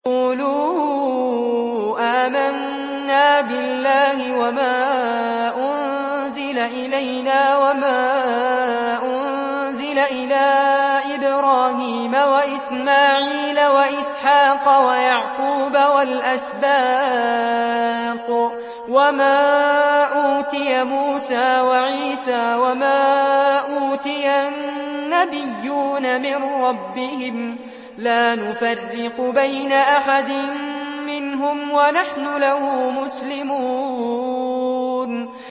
قُولُوا آمَنَّا بِاللَّهِ وَمَا أُنزِلَ إِلَيْنَا وَمَا أُنزِلَ إِلَىٰ إِبْرَاهِيمَ وَإِسْمَاعِيلَ وَإِسْحَاقَ وَيَعْقُوبَ وَالْأَسْبَاطِ وَمَا أُوتِيَ مُوسَىٰ وَعِيسَىٰ وَمَا أُوتِيَ النَّبِيُّونَ مِن رَّبِّهِمْ لَا نُفَرِّقُ بَيْنَ أَحَدٍ مِّنْهُمْ وَنَحْنُ لَهُ مُسْلِمُونَ